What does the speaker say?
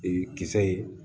Ee kisɛ ye